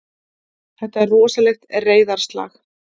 Þetta er rosalegt reiðarslag!